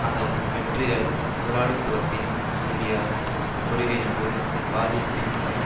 அதன் வெற்றிகள் முதலாளித்துவத்தின் ரீதியான பொறிவினது பாதிப்பின் கீழ்